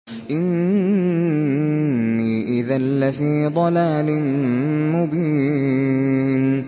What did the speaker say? إِنِّي إِذًا لَّفِي ضَلَالٍ مُّبِينٍ